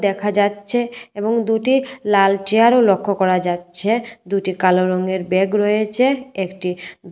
দেখা যাচ্ছে এবং দুটি লাল চেয়ারও লক্ষ করা যাচ্ছে দুটি কালো রঙের ব্যাগ রয়েছে একটি--